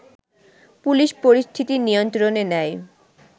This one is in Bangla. পুলিশ পরিস্থিতি নিয়ন্ত্রণে নেয়